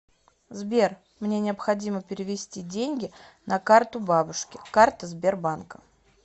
сбер мне необходимо перевести деньги на карту бабушки карта сбербанка